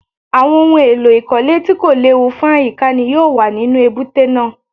Àwọn ohun èlò ìkọ́lé tí kò léwu fún àyíká ni yóò wà nínú èbúté náà